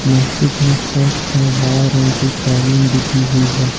मस्जिद में फर्श पर लाल रंग की कालीन बिछी हुई है।